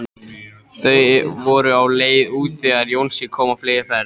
Þau voru á leið út þegar Jónsi kom á fleygiferð.